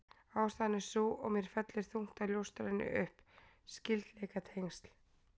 Ástæðan er sú, og mér fellur þungt að ljóstra henni upp: Skyldleikatengsl